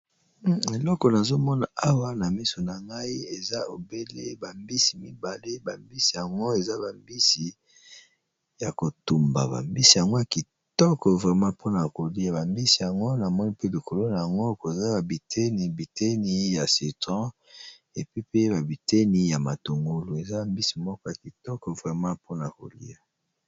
elekolo azomona awa na miso na ngai eza obele bambisi mibale bambisi yango eza bambisi ya kotumba bambisi yango ya kitoko vrema mpona kolia. bambisi yango na moi mpe likolo na yango koza babiteni biteni ya sitron epepe babiteni ya matongolu eza bambisi moko ya kitoko vrema mpona kolia